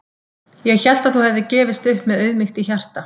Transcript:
Ég hélt að þú hefðir gefist upp með auðmýkt í hjarta.